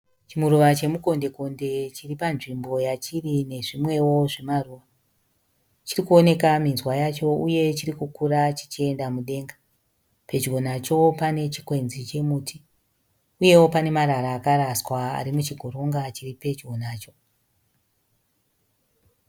Chimuruva chemukonde konde chiri panzvimbo yachiri nezvimwe wo zvimaruva. Chirikuoneka minzwa yacho uye chirikukura chichienda mudenga. Pedyo nacho pane chikwenzi che muti uye pana marara akaraswa ari muchigoronga ari pedyo nacho.